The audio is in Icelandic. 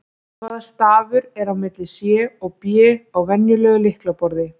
Hvaða stafur er á milli C og B á venjulegu lyklaborði?